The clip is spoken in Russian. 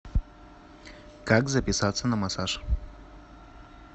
как записаться на массаж